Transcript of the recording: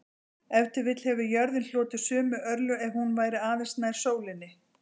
Ef til vill hefði jörðin hlotið sömu örlög ef hún væri aðeins nær sólinni.